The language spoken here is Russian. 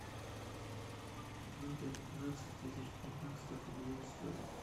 двадцать тысяч фунтов сколько будет стоить